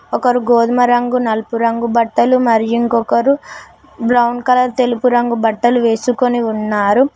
ఒకరు గోధుమ రంగు నలుపు రంగు బట్టలు మరి ఇంకొకరు బ్రౌన్ కలర్ తెలుపు రంగు బట్టలు వేసుకొని ఉన్నారు.